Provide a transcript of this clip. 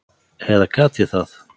Eða gat ég það?